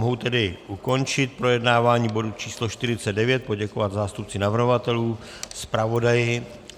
Mohu tedy ukončit projednávání bodu číslo 49, poděkovat zástupci navrhovatelů, zpravodaji.